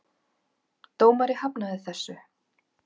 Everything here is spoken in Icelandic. Dómari hafnaði þessu.